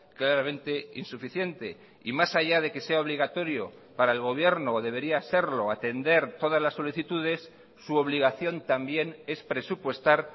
claramente insuficiente y más allá de que sea obligatorio para el gobierno o debería serlo atender todas las solicitudes su obligación también es presupuestar